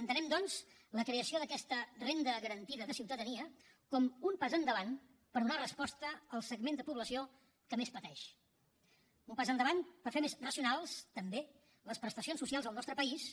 entenem doncs la creació d’aquesta renda garantida de ciutadania com un pas endavant per donar resposta al segment de població que més pateix un pas endavant per fer més racionals també les prestacions socials al nostre país